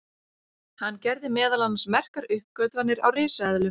hann gerði meðal annars merkar uppgötvanir á risaeðlum